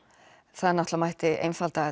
það mætti einfalda